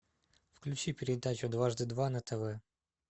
включи передачу дважды два на тв